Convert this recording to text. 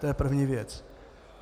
To je první věc.